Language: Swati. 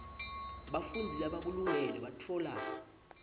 bafundzi labakulungele batfola